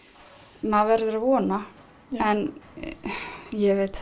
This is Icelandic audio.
maður verður að vona en ég veit